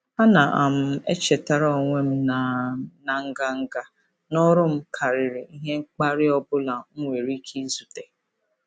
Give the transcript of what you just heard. Ana um m echetara onwe m na m na nganga n'ọrụ m karịrị ihe mkparị ọ bụla m nwere ike izute. um